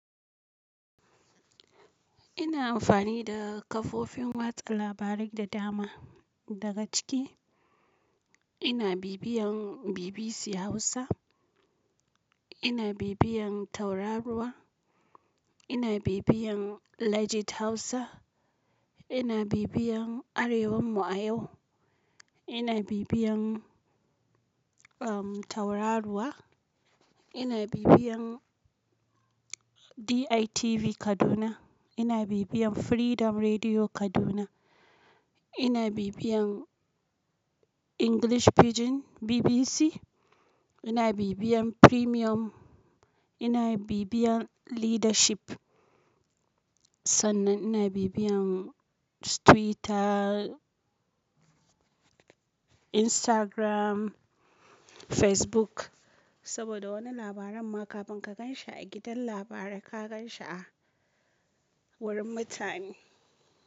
Ina amfani da kafofin watsa labarai da dama. Daga ciki ina bibiyan BBC Hausa, ina bibiyan Tauraruwa, ina bibiyan Legit Hausa, ina bibiyan Arewar Mu a yau, ina bibiyan um Tauraruwa, ina bibiyan DITV Kaduna, ina bibiyan Freedom Rediyo Kaduna, ina bibiyan English Pidgin BBC, ina bibiyan Premium, ina bibiyan Leadership. Sannan ina bibiyan Twitter, Instagram, Facebook saboda wani labarin ma ka binka gan shi a gidan labarai ka gan shi a wurin mutane.